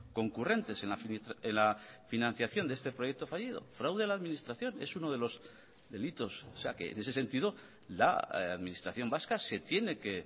concurrentes en la financiación de este proyecto fallido fraude a la administración es uno de los delitos o sea que en ese sentido la administración vasca se tiene que